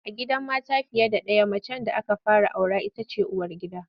A gidan mata fiye ɗaya macen da aka fara aura ita ce uwargida.